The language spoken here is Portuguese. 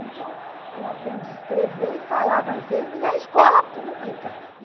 Então, eu aprendi a escrever e falar francês na escola pública.